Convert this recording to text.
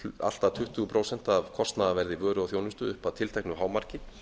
allt að tuttugu prósent af kostnaðarverði vöru og þjónusta upp að tilteknu hámarki